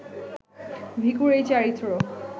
ভিখুর এই চারিত্র্য